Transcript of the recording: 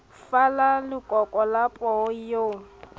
fala lekoko la pholo eo